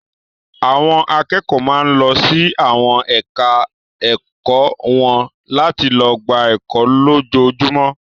Àwọn akẹ́kọ̀ọ́ máa ń lọ sí àwọn ẹ̀ka-ẹ̀kọ́ wọn láti lọ gba ẹkọ́ lójoojúmọ́.